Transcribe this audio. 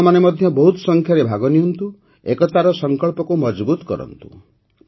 ଆପଣମାନେ ମଧ୍ୟ ବହୁତ ଅଧିକ ସଂଖ୍ୟାରେ ଭାଗ ନିଅନ୍ତୁ ଏକତାର ସଂକଳ୍ପକୁ ମଜଭୁତ କରନ୍ତୁ